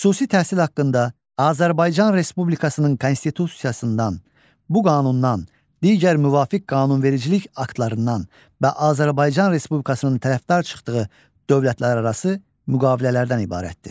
Xüsusi təhsil haqqında Azərbaycan Respublikasının Konstitusiyasından, bu qanundan, digər müvafiq qanunvericilik aktlarından və Azərbaycan Respublikasının tərəfdar çıxdığı dövlətlərarası müqavilələrdən ibarətdir.